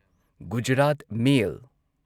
Gujarat ꯃꯦꯜ